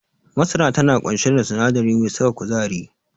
Masara tana ƙunshe da sinadari mai saka kuzari.